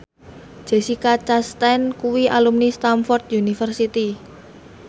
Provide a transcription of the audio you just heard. Jessica Chastain kuwi alumni Stamford University